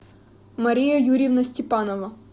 мария юрьевна степанова